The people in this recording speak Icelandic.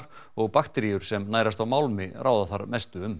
og bakteríur sem nærast á málmi ráða þar mestu um